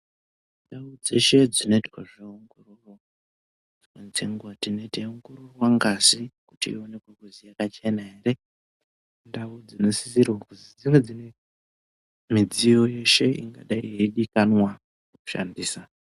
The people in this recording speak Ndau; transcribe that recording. Ndau dzeshe dzinoitwa zveongororo, dzimweni dzenguwa tinenge teiongororwa ngazi kuti ioneke kuti yakachena here. Indau dzinosisirwa kuti dzinge dzine midziyo yeshe ingadai yeidikanwa kushandisa.